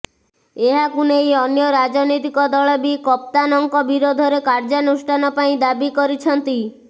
ଏହାକୁ ନେଇ ଅନ୍ୟ ରାଜନୈତିକ ଦଳବି କପ୍ତାନଙ୍କ ବିରୋଧରେ କାର୍ଯ୍ୟାନୁଷ୍ଠାନ ପାଇଁ ଦାବି କରିଛନ୍ତି